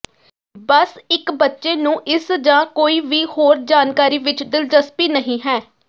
ਬਸ ਇੱਕ ਬੱਚੇ ਨੂੰ ਇਸ ਜ ਕੋਈ ਵੀ ਹੋਰ ਜਾਣਕਾਰੀ ਵਿੱਚ ਦਿਲਚਸਪੀ ਨਹੀ ਹੈ